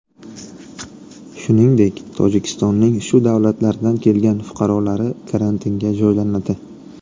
Shuningdek, Tojikistonning shu davlatlardan kelgan fuqarolari karantinga joylanadi.